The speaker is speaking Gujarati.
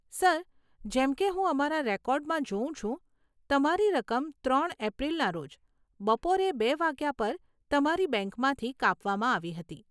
સર, જેમ કે હું અમારા રેકોર્ડમાં જોઉ છું, તમારી રકમ ત્રણ એપ્રિલના રોજ બપોરે બે વાગ્યા પર તમારી બેંકમાંથી કાપવામાં આવી હતી.